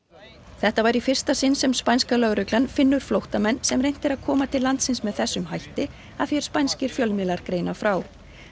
þetta var í fyrsta sinn sem spænska lögreglan finnur flóttamenn sem reynt er að koma til landsins með þessum hætti að því er spænskir fjölmiðlar greina frá